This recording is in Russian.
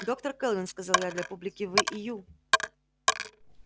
доктор кэлвин сказал я для публики вы и ю